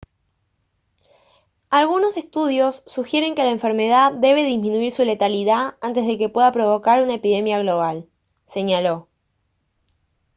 «algunos estudios sugieren que la enfermedad debe disminuir su letalidad antes de que pueda provocar una epidemia global» señaló